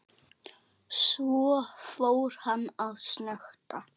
LÁRUS: Ekki núna, væni minn.